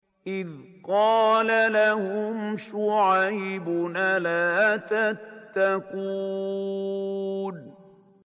إِذْ قَالَ لَهُمْ شُعَيْبٌ أَلَا تَتَّقُونَ